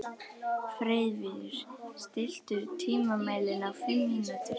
Freyviður, stilltu tímamælinn á fimm mínútur.